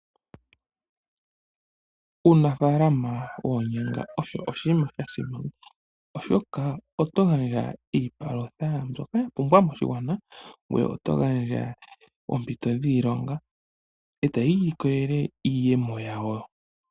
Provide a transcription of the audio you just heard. Uunafalama woonyanga osho oshinima sha simana, oshoka oto gandja iipalutha mbyokaya pumba moshigwana, ngoye oto gandja oompito dhiilonga e taya ilikolele iiyemo yawo.